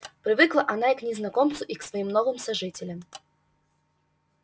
привыкла она и к незнакомцу и к своим новым сожителям